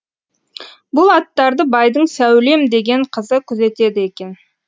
бұл аттарды байдың сәулем деген қызы күзетеді екен